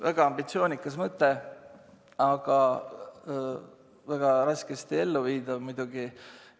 Väga ambitsioonikas mõte, aga väga raskesti elluviidav muidugi.